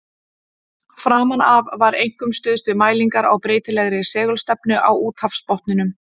Framan af var einkum stuðst við mælingar á breytilegri segulstefnu á úthafsbotninum.